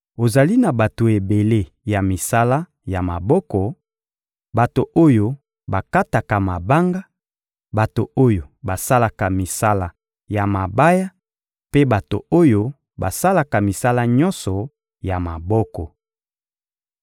Ozali na bato ebele ya misala ya maboko: bato oyo bakataka mabanga, bato oyo basalaka misala ya mabaya mpe bato oyo basalaka misala nyonso ya maboko.